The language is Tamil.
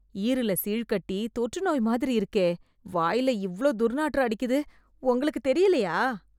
ஈறுல சீழ் கட்டி, தொற்றுநோய் மாதிரி இருக்கே... வாய்ல இவ்ளோ துர்நாற்றம் அடிக்குது, உங்களுக்கு தெரியலயா?